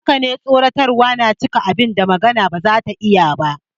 Haka ne, tsoratarwa na iya cika abin da magana ba za ta iya ba.